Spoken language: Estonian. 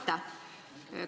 Aitäh!